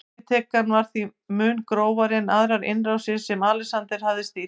Yfirtakan var því mun grófari en aðrar innrásir sem Alexander hafði stýrt.